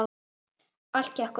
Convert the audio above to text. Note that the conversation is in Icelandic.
Allt gekk upp.